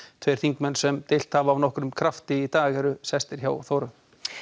tveir þingmenn sem deilt hafa af nokkrum krafti í dag eru sestir hjá Þóru